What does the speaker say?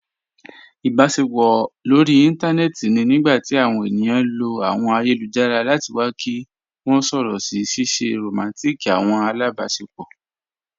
Ìbàṣepọ̀ lórí ìntanẹ̀ẹ̀tì ni nígbàtí àwọn ènìyàn lọ̀ àwọn ayélujára láti wà kí wọ̀ sọ̀rọ̀ sí ṣèè ṣé rọmántík àwọn alábàṣepọ̀.